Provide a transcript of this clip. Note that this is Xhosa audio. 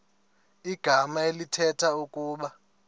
igama elithetha ukuba